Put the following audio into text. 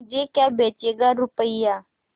मुझे क्या बेचेगा रुपय्या